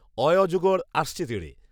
অয়ে অজগর আসছে তেড়ে